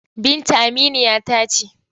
Binta aminiya ta ce.